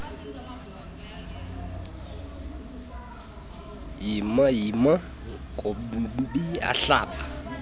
yima yima nkobiyahlaba